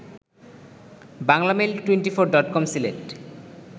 বাংলামেইল২৪ডটকম Sylhet